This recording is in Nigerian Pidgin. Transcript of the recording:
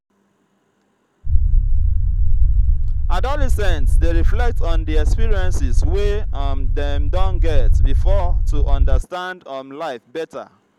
adolescents dey reflect on di experiences wey um dem don get before to understand um life better.